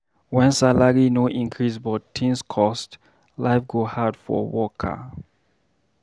When salary no increase but things cost, life go hard for worker.